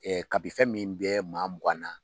ka b'i fɛn min bɛ maa mugan na.